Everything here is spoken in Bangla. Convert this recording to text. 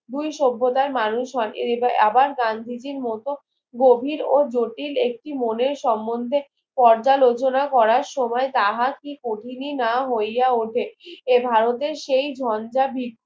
দুই সভ্যতার মানুষ হন এবার আবার গান্ধীজির মত গভীর ও জটিল একটি মনের সম্মদ্ধে পর্দা লোচনা করার সময় তাহা কি কাহিনী না হইয়া ওঠে এ ভারতের সেই ধন্দা